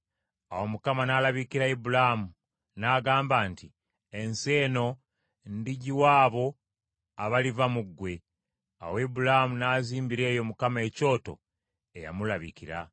Awo Mukama n’alabikira Ibulaamu n’agamba nti, “Ensi eno ndigiwa abo abaliva mu ggwe.” Awo Ibulaamu n’azimbira eyo Mukama ekyoto eyamulabikira.